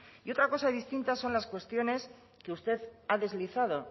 y otra cosa distinta son las cuestiones que usted ha deslizado